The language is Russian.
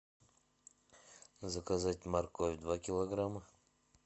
заказать морковь два килограмма